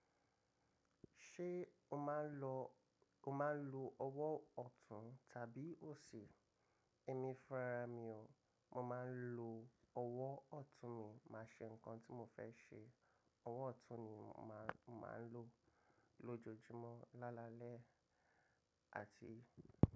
Ṣé o máa ń lo, o máa ń lo ọwọ́ ọ̀tún tàbí òsì? Èmi fúnra mi o, mo máa ń lo ọwọ́ ọ̀tún mi, màá ṣe nǹkan tí mo fẹ́ ṣe, ọwọ́ ọ̀tún ni màá, màá ń lo lójoojúmọ́ lálalẹ́ àti.